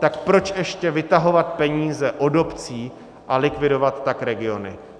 Tak proč ještě vytahovat peníze od obcí a likvidovat tak regiony?